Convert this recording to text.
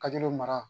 Ka jeliw mara